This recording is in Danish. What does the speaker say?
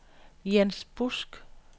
Jens Busk